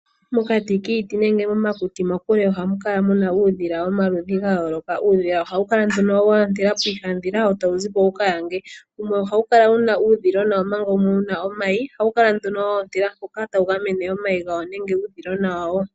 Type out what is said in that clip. Mokati kiiti nenge momakuti mokule ohamu kala muna uudhila womaludhi gayooloka. Uudhila ohawu kala nduno waandela piihandhila wo tawu zipo wuka yange. Wumwe kala wuna uudhilona omanga wumwe wuna omayi. Ohawu kala nduno woontela mpoka omayi nenge uudhilona wawo.